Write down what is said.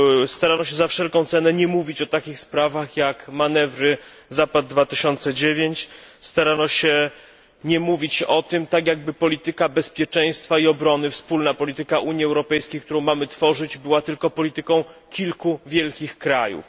Starano się za wszelką cenę nie mówić o takich sprawach jak manewry Zapad 2009, starano się nie mówić o tym, tak jakby polityka bezpieczeństwa i obrony wspólna polityka Unii Europejskiej, którą mamy tworzyć była polityką tylko kilku wielkich krajów.